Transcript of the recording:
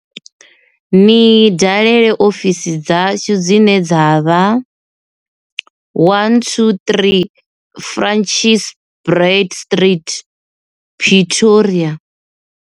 Ni dalela ofisi dzashu dzine dza vha123 Francis Baard Street, Pretoria.